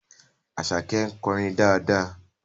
Àṣàkẹ́ ń kọrin dáadáa